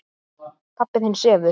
Pabbi þinn sefur.